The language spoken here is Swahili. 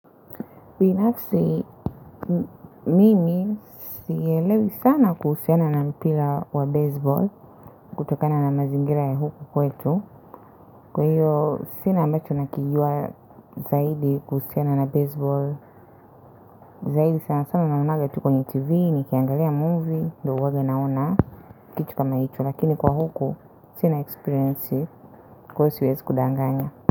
Binafsi, mimi siyaelewi sana kuhusiana na mpira wa baseball, kutokana na mazingira ya huku kwetu. Kwa hiyo sina ambacho ninakijua zaidi kuhusiana na baseball, zaidi sana sana ninaona kwenye TV, ninapoangalia movie, huwa naona kitu kama hicho. Lakini kwa huku, sina experience, kwa hiyo siwezi kudanganya.